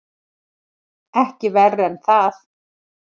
Ekki verr en það.